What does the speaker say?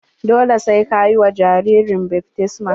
Dole sai ka yi wa jaririn baftisma.